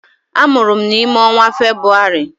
Amụrụ m n'ime ọnwa Febrụwarị.